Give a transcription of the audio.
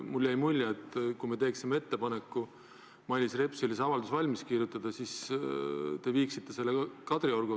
Mulle jäi mulje, et kui me teeksime Mailis Repsile ettepaneku see avaldus valmis kirjutada, siis te viiksite selle Kadriorgu.